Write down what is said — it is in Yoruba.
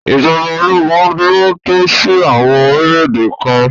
ìjọba ológun lo tọ́ sí àwọn orílẹ̀ èdè kan.